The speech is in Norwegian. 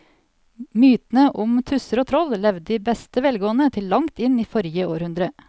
Mytene om tusser og troll levde i beste velgående til langt inn i forrige århundre.